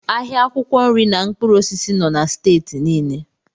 Ahịa akwụkwọ nri na mkpụrụ osisi nọ na Steeti niile.